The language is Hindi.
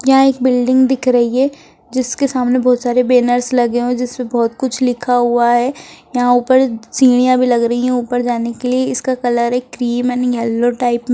यहा एक बिल्डिंग दिख रही है जिसके सामने बहुत सारे बैनर्स लगे हुए है जिसपे बहुत कुछ लिखा हुआ है यहा ऊपर सीढ़िया भी लग रही है ऊपर जाने के लिए इसका कलर एक क्रीम एण्ड येलो टाइप में --